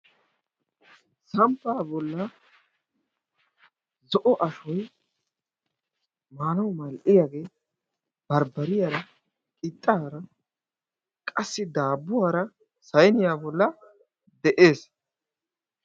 Samppa bolla zo'o ashoy maanawu mal"iyaage barbbariyaara qixxaara qassi daabbuwaara sayniya bolla de'ees.